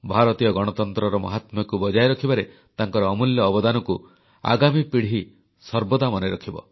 ଭାରତୀୟ ଗଣତନ୍ତ୍ରର ମହାତ୍ମ୍ୟକୁ ବଜାୟ ରଖିବାରେ ତାଙ୍କର ଅମୂଲ୍ୟ ଅବଦାନକୁ ଆଗାମୀ ପିଢ଼ି ସର୍ବଦା ମନେରଖିବ